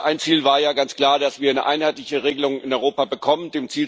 Ich glaube, ein Ziel war ja ganz klar, dass wir eine einheitliche Regelung in Europa bekommen.